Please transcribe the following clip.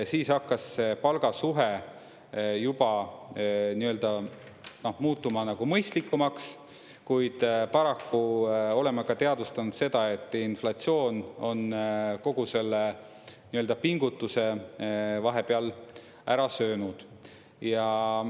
Siis hakkas see palgasuhe juba muutuma mõistlikumaks, kuid paraku oleme ka teadvustanud seda, et inflatsioon on kogu selle pingutuse vahepeal ära söönud.